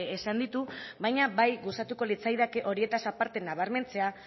esan ditu baina bai gustatuko litzaidake horietaz aparte nabarmentzea